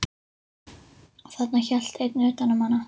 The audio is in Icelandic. Og þarna hélt einn utan um hana.